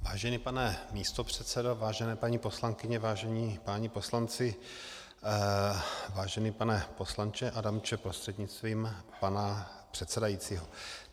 Vážený pane místopředsedo, vážené paní poslankyně, vážení páni poslanci, vážený pane poslanče Adamče prostřednictvím pana předsedajícího.